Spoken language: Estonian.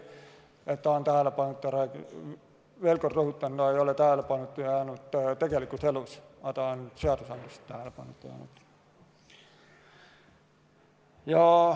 Veel kord rõhutan, ta ei ole tähelepanuta jäänud tegelikus elus, aga ta on seaduses tähelepanuta jäänud.